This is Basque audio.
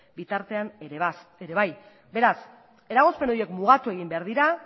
bitartean ere bai beraz eragozpen horiek mugatu egin behar dira